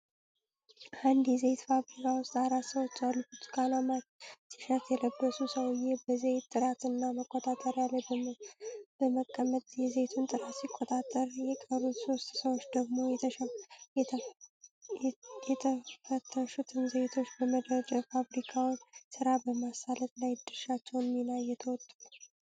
አንድ የዘይት ፋብሪካ ውስጥ አራት ሰዎች አሉ። ብርቱካናማ ቲሸርት የለበሰው ሰውዬ በዘይት ጥራት እና መቆጣጠሪያ ላይ በመቀመጥ የዘይቱን ጥራት ሲቆጣጠር የቀሩት ሶስቱ ሰዎች ደግሞ፤ የተፈተሹትን ዘይቶች በመደርደር የፋብሪካውን ስራ በማሳለጥ ላይ የድርሻቸውን ሚና እየተወጡ ነው።